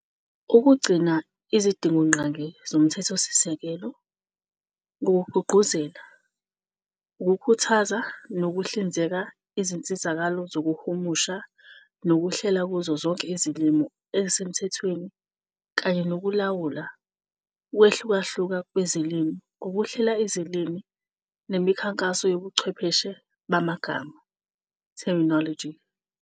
ukugcina izidingongqangi zoMthethosisekelo, ngokugqugquzela, ukukhuthaza nokuhlinzeka izinsizakalo zokuhumusha nokuhlela kuzo zonke izilimi ezisemthethweni kanye nokulawula ukuwehlukahluka kwezilimi ngokuhlela izilimi nemikhankaso yobuchwepheshe bamagama, terminology.